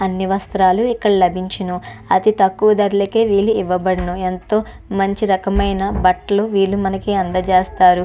అన్నీ వస్త్రాలు ఇక్కడ లబించును అతి తక్కువ ధరలకే వీళ్ళు ఇవ్వబడును ఎంతో మంచి రకమైన బట్టలను వీళ్ళు అందచేస్తారు.